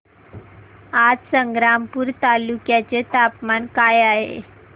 आज संग्रामपूर तालुक्या चे तापमान काय आहे